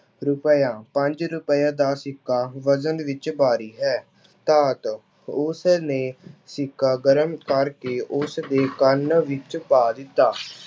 ਰੁਪਇਆ- ਪੰਜ ਰੁਪਏ ਦਾ ਸਿੱਕਾ ਵਜ਼ਨ ਵਿੱਚ ਭਾਰੀ ਹੈ। ਧਾਤ- ਉਸਨੇ ਸਿੱਕਾ ਗਰਮ ਕਰਕੇ ਉਸਦੇ ਕੰਨ ਵਿੱਚ ਪਾ ਦਿੱਤਾ।